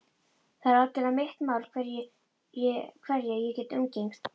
Það er algerlega mitt mál hverja ég umgengst.